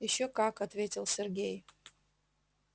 ещё как ответил сергей